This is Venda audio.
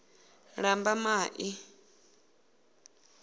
lambamai